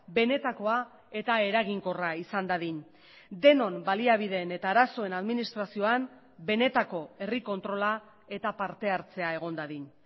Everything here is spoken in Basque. benetakoa eta eraginkorra izan dadin denon baliabideen eta arazoen administrazioan benetako herri kontrola eta parte hartzea egon dadin